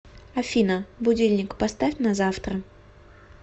афина будильник поставь на завтра